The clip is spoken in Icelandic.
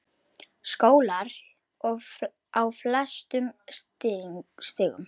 Skólar á flestum stigum.